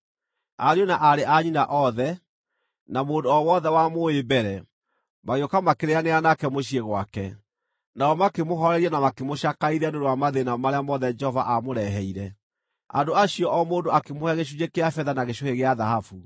Ariũ na aarĩ a nyina othe, na mũndũ o wothe wamũũĩ mbere, magĩũka makĩrĩĩanĩra nake mũciĩ gwake, nao makĩmũhooreria na makĩmũcakaithia nĩ ũndũ wa mathĩĩna marĩa mothe Jehova aamũreheire. Andũ acio o mũndũ akĩmũhe gĩcunjĩ kĩa betha na gĩcũhĩ gĩa thahabu.